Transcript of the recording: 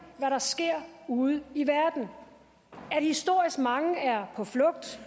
hvad der sker ude i verden at historisk mange er på flugt